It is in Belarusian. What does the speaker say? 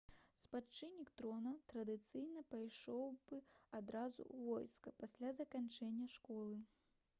спадчыннік трона традыцыйна пайшоў бы адразу ў войска пасля заканчэння школы